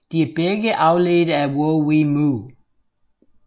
De er begge afledte af WoWEmu